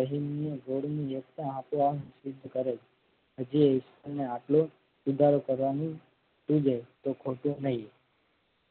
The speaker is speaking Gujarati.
અહીમની ધોડીની વ્યક્ત આપોઆપ સિદ્ધ કરે. હજી ઈશ્વરને આટલો સુધારો કરવાનું સુજે તો ખોટું નઈ.